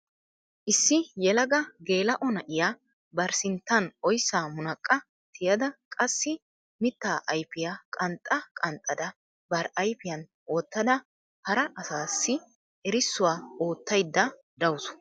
Issi yelaga gela"o na'iyaa bari sinttan oyssaa munaqqa tiyada qassi mitta ayfiya qanxxa qanxxada bari ayfiyaan wottada hara asassi erissuwaa oottaydda dawus.